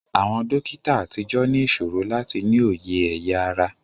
Àwọn dókítà àtijọ́ ní ìṣòro láti ní òye ẹ̀ya ara